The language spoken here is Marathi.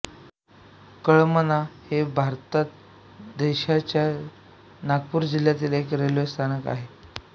कळमना हे भारत देशाच्या नागपूर जिल्ह्यातील एक रेल्वे स्थानक आहे